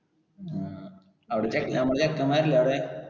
ആ അവിടെ നമ്മടെ ചെക്കെന്മാരിലെ അവിടെ.